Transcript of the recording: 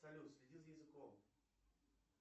салют следи за языком